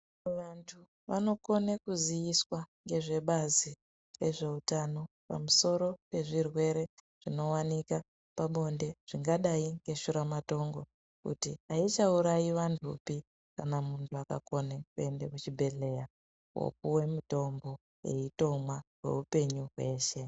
Vantu vanokona kuziiswa nezvebazi rezveutano pamusoro pezvirwere zvinowanikwa pabonde zvingadai neshuramatongo kuti aichaurayi vantupi kana muntu akakona kuenda kuchibhehleya kopuwa mutombo otomwa kweupenyu hweshe.